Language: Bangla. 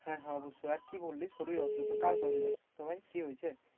হ্যাঁ হ্যাঁ অবশ্যই আর কি বললি শরীর অসুস্থ কার শরীর অসুস্থ ভাই, কি হয়েছে?